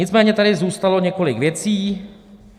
Nicméně tady zůstalo několik věcí.